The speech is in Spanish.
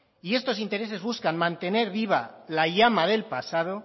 y estos intereses buscan mantener viva la llama del pasado